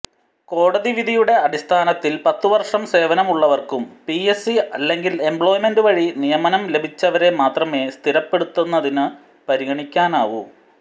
കോടതിവിധിയുടെ അടിസ്ഥാനത്തിൽ പത്തുവർഷം സേവനമുള്ളവരും പിഎസ്സി അല്ലെങ്കിൽ എംപ്ലോയ്മെൻറ് വഴി നിയമനം ലഭിച്ചവരെ മാത്രമേ സ്ഥിരപ്പെടുത്തുന്നതിനു പരിഗണിക്കാനാവൂ